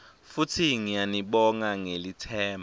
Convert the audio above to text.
futsi ngiyanibonga ngelitsemba